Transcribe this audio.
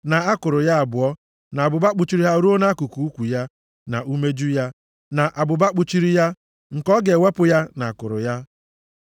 na akụrụ ya abụọ, na abụba kpuchiri ha ruo nʼakụkụ ukwu ya, na umeju ya, na abụba kpuchiri ya; nke ọ ga-ewepụ ya na akụrụ ya.